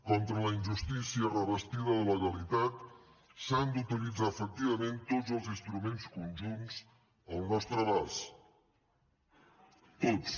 contra la injustícia revestida de legalitat s’han d’utilitzar efectivament tots els instruments conjunts al nostre abast tots